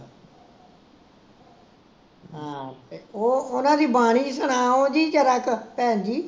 ਹਾਂ ਉਹ ਓਹਨਾ ਦੀ ਬਾਣੀ ਸੁਣਾਓ ਜੀ ਜ਼ਰਾ ਕੁ ਭੈਣਜੀ